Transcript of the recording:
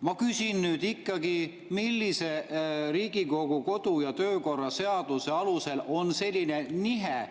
Ma küsin ikkagi: millise Riigikogu kodu‑ ja töökorra seaduse alusel on selline nihe